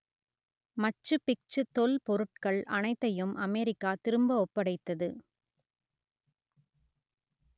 மச்சு Picchu தொல்பொருட்கள் அனைத்தையும் America திரும்ப ஒப்படைத்தது